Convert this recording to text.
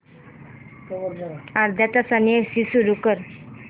अर्ध्या तासाने एसी सुरू कर